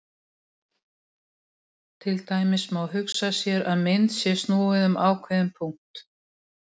Til dæmis má hugsa sér að mynd sé snúið um ákveðinn punkt.